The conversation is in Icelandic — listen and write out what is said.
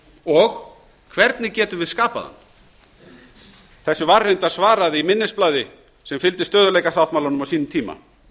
og hvernig getum við skapað hann þessu var reyndar svarað í minnisblaði sem fylgdi stöðugleikasáttmálanum á sínum tíma